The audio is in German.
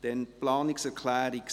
Dann zur Planungserklärung